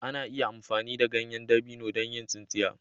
Ana iya amfani da ganyen dabino don yin tsintsiya.